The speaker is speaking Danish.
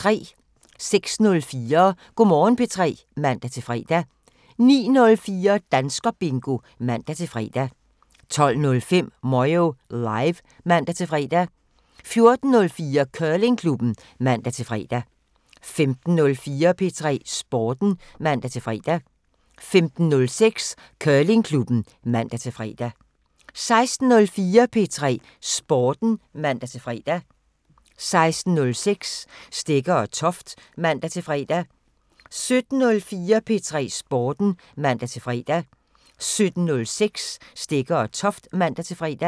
06:04: Go' Morgen P3 (man-fre) 09:04: Danskerbingo (man-fre) 12:05: Moyo Live (man-fre) 14:04: Curlingklubben (man-fre) 15:04: P3 Sporten (man-fre) 15:06: Curlingklubben (man-fre) 16:04: P3 Sporten (man-fre) 16:06: Stegger & Toft (man-fre) 17:04: P3 Sporten (man-fre) 17:06: Stegger & Toft (man-fre)